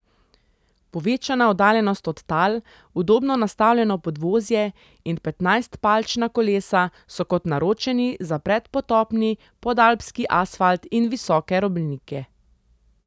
Povečana oddaljenost od tal, udobno nastavljeno podvozje in petnajstpalčna kolesa so kot naročeni za predpotopni podalpski asfalt in visoke robnike.